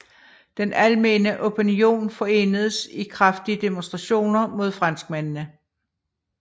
Den almene opinion forenedes i kraftige demonstrationer mod franskmændene